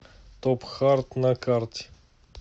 топхарт на карте